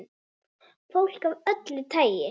Fólk af öllu tagi.